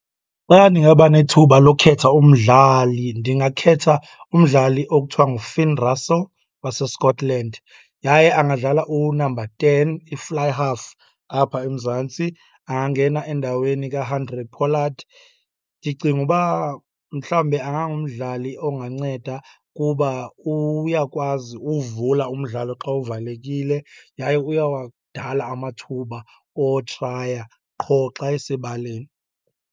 Xa ndingaba nethuba lokhetha umdlali, ndingakhetha umdlali okuthiwa nguFinn Russell waseScotland. Yaye angadlala unamba ten, i-fly half apha eMzantsi angangena endaweni kaHandre Pollard. Ndicinga uba mhlawumbe angangumdlali onganceda kuba uyakwazi uwuvula umdlalo xa uvalekile, yaye uyawadala amathuba wotraya qho xa esebaleni.